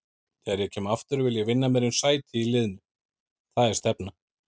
Þegar ég kem aftur vil ég vinna mér inn sæti í liðnu, það er stefnan.